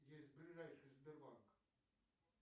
есть ближайший сбербанк